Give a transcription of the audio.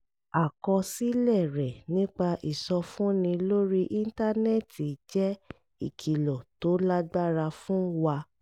àkọsílẹ̀ rẹ̀ nípa ìsọfúnni lórí íńtánẹ́ẹ̀tì jẹ́ ìkìlọ̀ tó lágbára fún wa